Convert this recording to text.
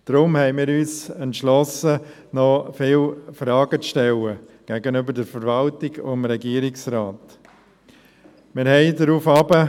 Deshalb entschlossen wir uns, der Verwaltung und dem Regierungsrat noch viele Fragen zu stellen.